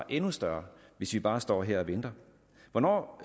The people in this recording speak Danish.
endnu større hvis vi bare står her og venter hvornår